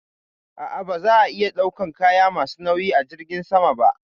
A'a, ba za a iya ɗaukan kaya ma su nauyi a jirgin sama ba